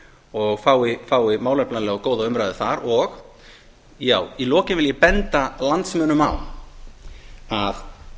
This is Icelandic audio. og fái málefnalega og góða umræðu þar í lokin vil ég benda landsmönnum á að